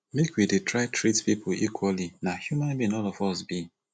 make we dey try treat pipo equally na human being all of us be